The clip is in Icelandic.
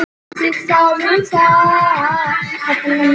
En fínt skyldi það vera!